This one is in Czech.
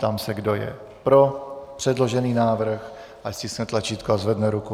Ptám se, kdo je pro předložený návrh, ať stiskne tlačítko a zvedne ruku.